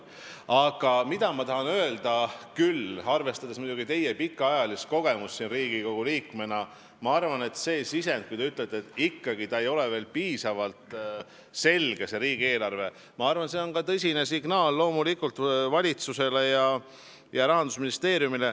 Aga ma tahan öelda, arvestades teie pikaajalist kogemust Riigikogu liikmena, et kui te ütlete, et ikkagi ei ole riigieelarve veel piisavalt selge, siis see sisend, ma arvan, on loomulikult tõsine signaal valitsusele ja Rahandusministeeriumile.